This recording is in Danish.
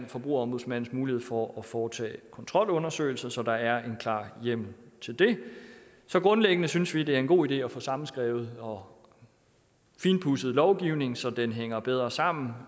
forbrugerombudsmandens mulighed for at foretage kontrolundersøgelser så der er en klar hjemmel til det så grundlæggende synes vi det er en god idé at få sammenskrevet og finpudset lovgivningen så den hænger bedre sammen